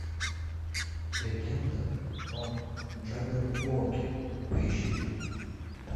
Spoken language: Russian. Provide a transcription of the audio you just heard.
легенда о джабберуоке поищи